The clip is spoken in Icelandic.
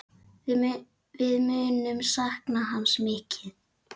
Við munum sakna hans mikið.